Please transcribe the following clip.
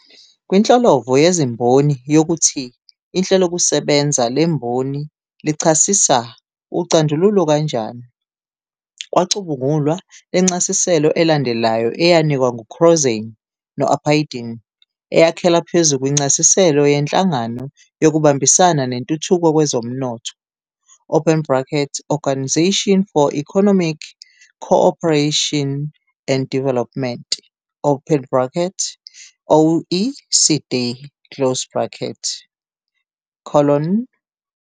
Kwinhlolovo yeziMboni yokuthi ihlelokusebenza lemboni lichasisa ucandululo kanjani, kwacubungulwa lencasiselo elandelayo eyanikwa ngu-Crossan no-Apaydin, eyakhela phezu kwincasiselo yenhlangano yokubambisana nentuthuko kwezomnotho, Organisation for Economic Co-operation and Development, OECD.